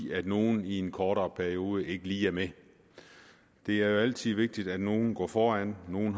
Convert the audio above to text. nogle i en kortere periode ikke lige er med det er jo altid vigtigt at nogle går foran at nogle